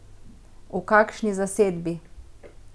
V kakšni zasedbi?